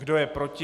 Kdo je proti?